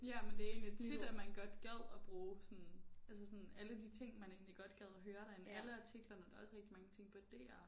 Ja men det er egentlig tit at man godt at bruge sådan altså sådan alle de ting man egentlig godt gad høre derinde alle artiklerne der er også rigtig mange ting på DR